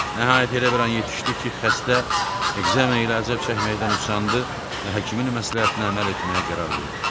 Nəhayət elə bir an yetişdi ki, xəstə ekzema ilə əzab çəkməkdən usandı və həkimin məsləhətinə əməl etməyə qərar verdi.